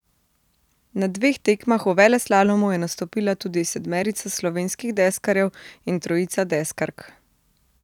Na dveh tekmah v veleslalomu je nastopila tudi sedmerica slovenskih deskarjev in trojica deskark.